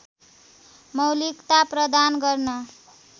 मौलिकता प्रदान गर्न